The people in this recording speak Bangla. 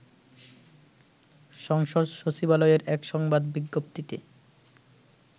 সংসদ সচিবালয়ের এক সংবাদ বিজ্ঞপ্তিতে